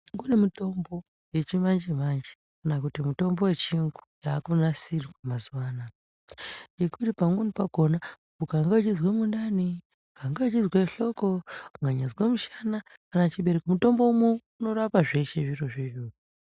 Kune mutombo yechimanje-manje akana kuti mutombo yechiyungu yaakunasirwa mazuva anaya. Yekuti pamweni pakona ukange wechizwe mundani, ukange wechizwe hloko, ukanyaazwe mushana kana chibereko. Mutombo uno unorapa zveshe izvozvo.